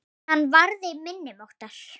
Hann varði minni máttar.